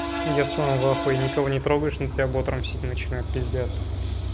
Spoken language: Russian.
я сам в ахуе никого не трогаешь на тебя бот рамсить начинает пиздец